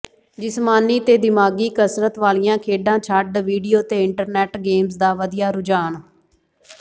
ਜਿਸਮਾਨੀ ਤੇ ਦਿਮਾਗ਼ੀ ਕਸਰਤ ਵਾਲੀਆਂ ਖੇਡਾਂ ਛੱਡ ਵੀਡੀਓ ਤੇ ਇੰਟਰਨੈੱਟ ਗੇਮਜ਼ ਦਾ ਵਧਿਆ ਰੁਝਾਨ